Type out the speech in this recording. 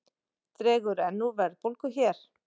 Dregur enn úr verðbólgu hér